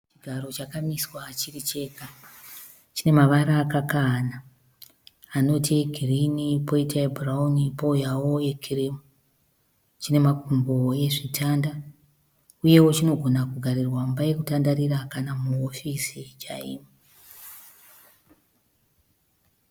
Chigaro chajamiswa chirichega. Chinemavara akakahana anoti egirinhi poita ebhurauni pouyawo ekirimu . Chinemakumbo ezvitanda uyewo chinogona kugarirwa muimba yekutandarira kana muhofisi chaimo.